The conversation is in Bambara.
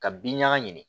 Ka bin ɲaga ɲini